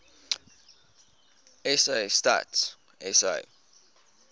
sa stats sa